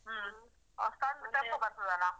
ಆ ಸಣ್ಣದು tempo ಬರ್ತದ್ ಅಲ್ಲ.